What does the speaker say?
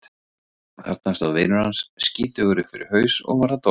Jú, þarna stóð vinur hans, skítugur upp fyrir haus og var að dorga.